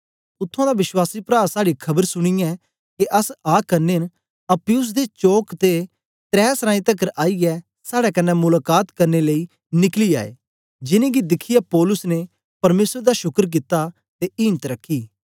उत्त्थुआं दा विश्वास प्रा साड़ी खबर सुनीयै के अस आ करने न अप्पियुस दे चौक ते त्रै सरांई तकर आईयै साड़े कन्ने मुलाका त करने लेई निकली आए जिनेंगी दिखियै पौलुस ने परमेसर दा शुकर कित्ता ते इम्त रखी